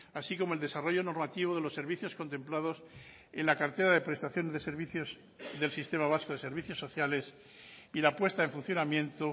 así como el desarrollo normativo de los servicios contemplados en la cartera de prestación de servicios del sistema vasco de servicios sociales y la puesta en funcionamiento